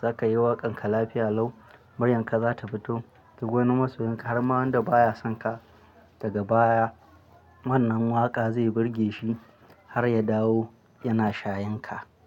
za ka yi waƙan ka lafiya lau, muryanka za ta fito, kduk wani masoyanka har ma wanda baya son ka daga baya wannan waƙa zai burge shi har ya dawo yana shayan ka.